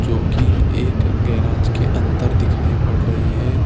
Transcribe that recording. जोकि एक गैराज के अंदर दिखाई पड़ रही है।